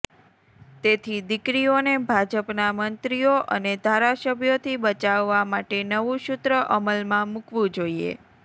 તેથી દીકરીઓને ભાજપના મંત્રીઓ અને ધારાસભ્યોથી બચાવવા માટે નવું સૂત્ર અમલમાં મૂકવું જોઈએ